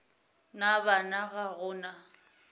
na bana ga go na